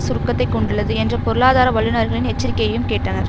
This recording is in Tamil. சுருக்கத்தைக் கொண்டுள்ளது என்ற பொருளாதார வல்லுனர்களின் எச்சரிக்கையையும் கேட்டனர்